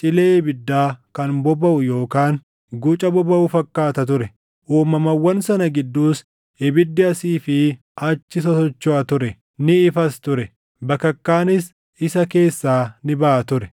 cilee ibiddaa kan bobaʼu yookaan guca bobaʼu fakkaata ture. Uumamawwan sana gidduus ibiddi asii fi achi sosochoʼa ture; ni ifas ture; bakakkaanis isa keessaa ni baʼa ture.